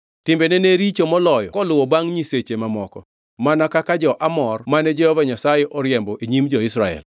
Timbene ne richoe moloyo koluwo bangʼ nyiseche mamoko, mana kaka jo-Amor mane Jehova Nyasaye oriembo e nyim jo-Israel.